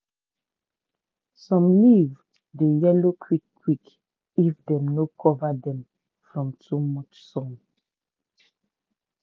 some leaf dey yellow quick quick if dem no cover dem from too much sun.